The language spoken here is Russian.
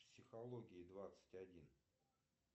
психологии двадцать один